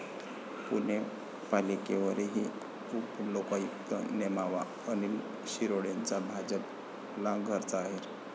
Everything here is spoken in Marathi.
पुणे पालिकेवरही उपलोकायुक्त नेमावा, अनिल शिरोळेंचा भाजपला घरचा अहेर